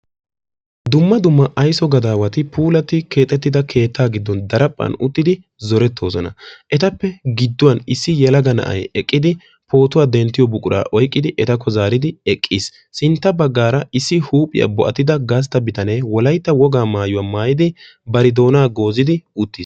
dumma dumma aysso gadawati puulatida keetta gidoni uttidosona issi yelaga na"aykka etta photuwaa denttessi sintta bagara issi bo"a bittane wolaytta wogaa maayuwaa maayidi baagaa doona goozidi uttisi.